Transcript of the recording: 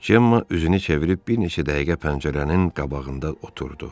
Cemma üzünü çevirib bir neçə dəqiqə pəncərənin qabağında oturdu.